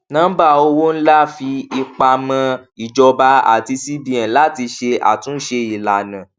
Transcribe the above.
nọmbà owó ńlá fi ipa mọ ìjọba àti cbn láti ṣe àtúnṣe ìlànà